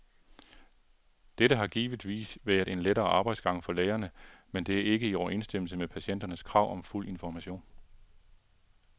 Dette har givetvis været en lettere arbejdsgang for lægerne, men det er ikke i overensstemmelse med patienternes krav om fuld information.